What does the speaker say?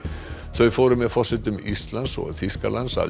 þau fóru með forsetum Íslands og Þýskalands að